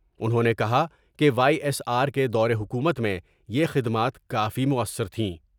انہوں نے کہا کہ وائی ایس آر کے دورحکومت میں یہ خدمات کافی موثر تھیں ۔